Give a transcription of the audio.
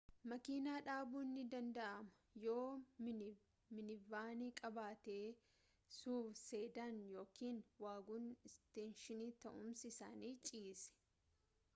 makiina dhabuun ni danda'ama yoo minivanii qabaate suv sedan yookiin wagon isteeshinii ta'umsi isaanii ciise